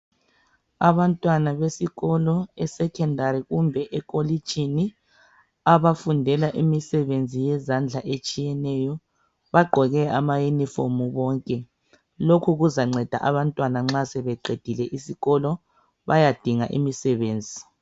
abantwana besikolo esecondary kumbe emakolitshini abafundela imisebenzi yezandla etshiyeneyo bonke bagqoke ama uniform lokho kuzabancedisa abantwana nxa sebeqedile esikolo bayadinga imisebenzi